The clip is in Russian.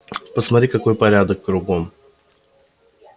посмотри какой порядок кругом